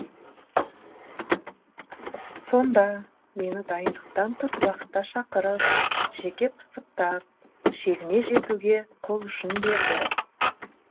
сонда мені дайындықтан тыс уақытта шақырып жеке пысықтап шегіне жетуге қолұшын берді